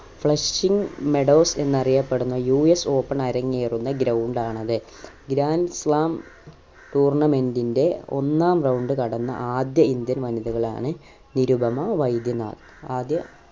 flushing meadows എന്നറിയപ്പെടുന് US Open അരങ്ങേറുന്ന ground ആണത് grand slam tournament ന്റെ ഒന്നാം round കടന്ന ആദ്യ indian വനിതകളാണ് നിരുപമ വൈദ്യനാഥ് ആദ്യ